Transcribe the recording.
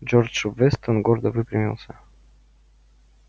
джордж вестон гордо выпрямился